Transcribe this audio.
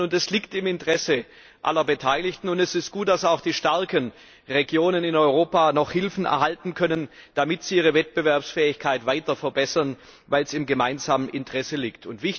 Es liegt im Interesse aller Beteiligten und es ist gut, dass auch die starken Regionen in Europa noch Hilfen erhalten können, damit sie ihre Wettbewerbsfähigkeit weiter verbessern, weil das im gemeinsamen Interesse liegt.